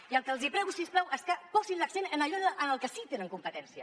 i el que els prego si us plau és que posin l’accent en allò en el que sí tenen competència